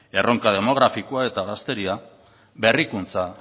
erronka demografikoa eta gazteria berrikuntza